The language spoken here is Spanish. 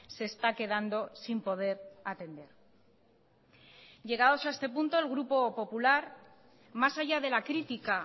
se está quedando sin poder atender llegados a este punto el grupo popular más allá de la crítica